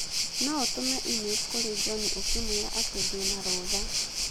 No ũtũme e-mail kũrĩ John ũkĩmwĩra atĩ ndĩ na rũtha